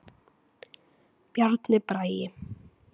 Bjarni Bragi.